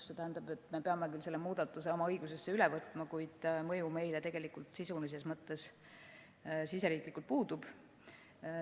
See tähendab, et me peame küll selle muudatuse oma õigusesse üle võtma, kuid mõju meile tegelikult sisulises mõttes siseriiklikult puudub.